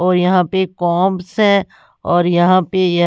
और यहां पे कॉप्स है और यहां पे ये।